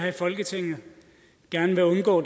her i folketinget gerne vil undgå